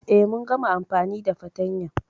E, mun gama amfani da fatanyan.